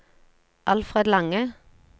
Alfred Lange